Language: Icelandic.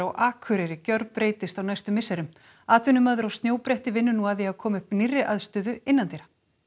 Akureyri gjörbreytist á næstu misserum atvinnumaður á snjóbretti vinnur nú að því að koma upp nýrri aðstöðu innandyra